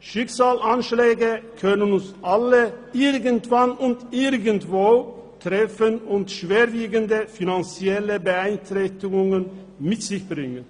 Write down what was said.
Schicksalsschläge können uns alle irgendwann und irgendwo treffen und schwerwiegende finanzielle Beeinträchtigungen mit sich bringen.